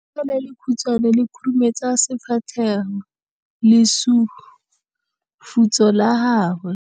Letsogo le lekhutshwane le khurumetsa lesufutsogo la gago.